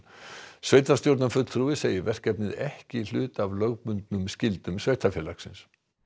sveitarstjórnarfulltrúi segir verkefnið ekki hluta af lögbundnum skyldum sveitarfélagsins